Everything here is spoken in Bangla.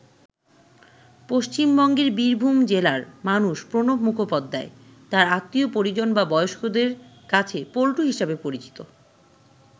পশ্চিমবঙ্গের বীরভূম জেলার মানুষ প্রণব মুখোপাধ্যায় তাঁর আত্মীয় পরিজন বা বয়স্কদের কাছে পল্টু হিসাবে পরিচিত।